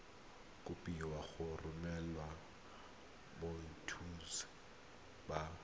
kopiwa go romela boitshupo ba